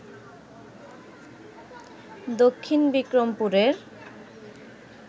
দক্ষিণ বিক্রমপুরের